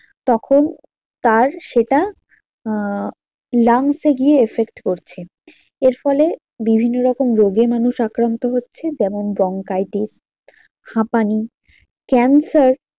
তখন তার সেটা আহ lungs এ গিয়ে effect করছে। এর ফলে বিভিন্ন রকম রোগে মানুষ আক্রান্ত হচ্ছে যেমন ব্রংকাইটিস হাঁপানি ক্যান্সার।